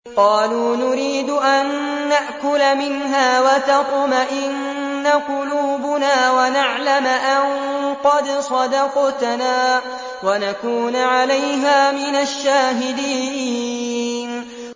قَالُوا نُرِيدُ أَن نَّأْكُلَ مِنْهَا وَتَطْمَئِنَّ قُلُوبُنَا وَنَعْلَمَ أَن قَدْ صَدَقْتَنَا وَنَكُونَ عَلَيْهَا مِنَ الشَّاهِدِينَ